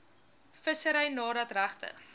vissery nadat regte